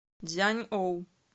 цзяньоу